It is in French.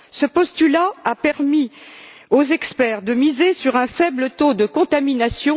Ce postulat a permis aux experts de miser sur un faible taux de contamination